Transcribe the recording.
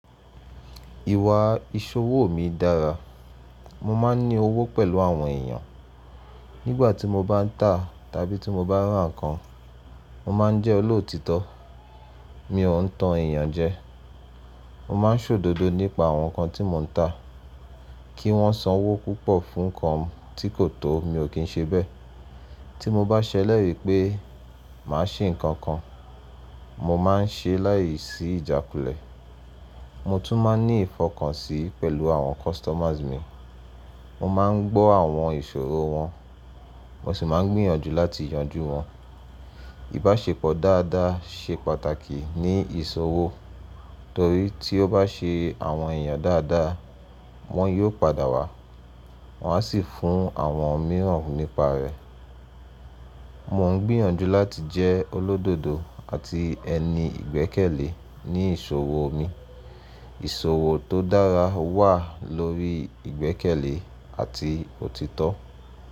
Ìwà ìṣòwò mi dára. Mo máa ń ní owó pẹ̀lú àwọn èèyàn. Nígbà tí mo bá ń tà tàbí tí mo bá rán ǹkan, mo má ń jẹ́ olóòtítọ́. Mi ò ń tan èèyàn jẹ. Mo má ń ṣòdodo nípa àwọn ǹkan tí mo ń tà. Kí wọ́n san owó púpọ̀ fún ǹkan tí kò tó mi ò kín ṣe bẹ́ẹ̀. Tí mo bá ṣèlérí pé màá ṣe ǹkan kan, mo má a ń ṣe é layìí sí ìjákulẹ̀. Mo tún má ń ní ìfọkànsìn pẹ̀lú àwọn customers mi. Mo má a ń gbọ́ àwọn ìṣòro wọn, mo sì má ń gbìyànjú láti yanjú wọn. Ìbáṣepọ̀ dáadáa ṣe pàtàkì ní ìṣòwò torí tí o bá ṣe àwọn èèyàn dáadáa, wọ́n yóò padà wá, wọ́n á sì fún àwọn mìíràn nípa rẹ̀. Mò ń gbìyànjú láti jẹ́ olódodo àti ẹni ìgbẹ́kẹ̀lé ní ìṣòwò mi. Ìṣòwò tó dára wà lórí ìgbẹ́kẹ̀lé àti òtítọ́.